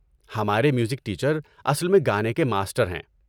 ہمارے music teacher اصل میں گانے کے ماسٹر ہیں۔